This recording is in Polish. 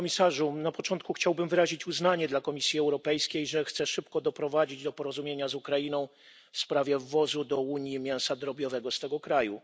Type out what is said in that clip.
Na początku chciałbym wyrazić uznanie dla Komisji Europejskiej, że chce szybko doprowadzić do porozumienia z Ukrainą w sprawie przywozu do Unii mięsa drobiowego z tego kraju.